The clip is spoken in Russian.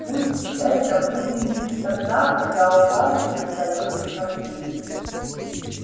пусть это будет лишь тогда когда у вас не остаётся сомнений